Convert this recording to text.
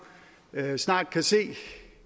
snart kan se